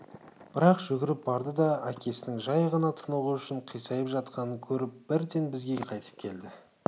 бірақ жүгіріп барды да әкесінің жай ғана тынығу үшін қисайып жатқанын көріп бірден бізге қайтып келді